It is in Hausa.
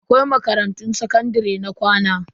Akwai makarantun sakandare na ƙwana.